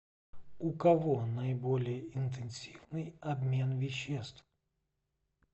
у кого наиболее интенсивный обмен веществ